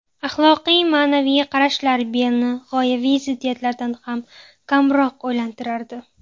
Axloqiy-ma’naviy qarashlar Bellni g‘oyaviy ziddiyatlardan ham kamroq o‘ylantirardi.